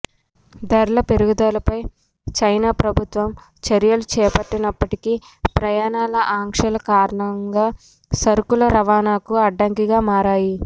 ధరల పెరుగుదలపై చైనా ప్రభుత్వం చర్యలు చేపట్టినప్పటికీ ప్రయాణాల ఆంక్షల కారణంగా సరుకుల రవాణాకు అడ్డంకిగా మారాయి